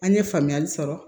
An ye faamuyali sɔrɔ